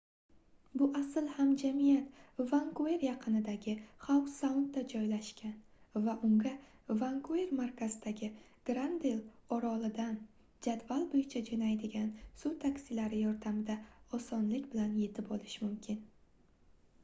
bu asl hamjamiyat vankuver yaqinidagi xau-saundda joylashgan va unga vankuver markazidagi granvil orolidan jadval boʻyicha joʻnaydigan suv taksilari yordamida osonlik bilan yetib olish mumkin